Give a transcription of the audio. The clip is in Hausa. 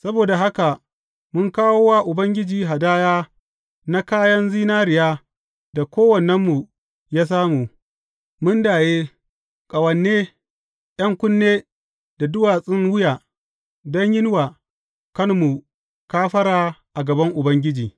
Saboda haka mun kawo wa Ubangiji hadaya na kayan zinariya da kowannenmu ya samu, mundaye, ƙawane, ’yan kunne da duwatsun wuya, don yin wa kanmu kafara a gaban Ubangiji.